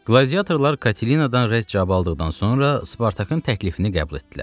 Qladiatorlar Katelinadan rəd cavabı aldıqdan sonra Spartakın təklifini qəbul etdilər.